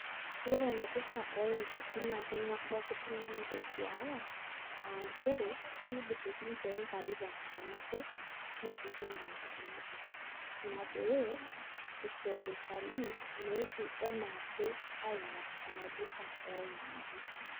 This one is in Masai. Ore enaidurra oingati na keng'uar pooki tung'ani peduaya, ah njere, kidur oshi nche ingati tenkata nabo, neshukunye tenkata nabo. Ina pee, isho iltalii meetu enaake aing'or enaidurra oingati.